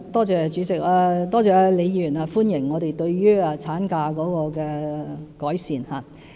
主席，多謝李議員歡迎我們對產假作出的改善。